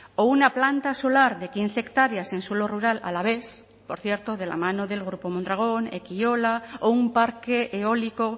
o una planta solar de quince hectáreas en suelo rural alavés por cierto de la mano del grupo mondragón ekiola o un parque eólico